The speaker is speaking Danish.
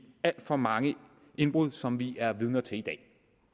alt for mange indbrud som vi er vidner til i dag